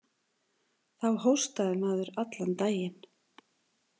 Þá hóstaði maður allan daginn